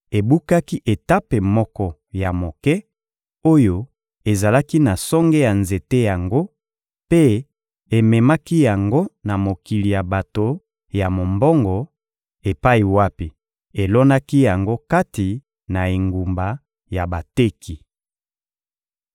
ebukaki etape moko ya moke oyo ezalaki na songe ya nzete yango mpe ememaki yango na mokili ya bato ya mombongo, epai wapi elonaki yango kati na engumba ya bateki.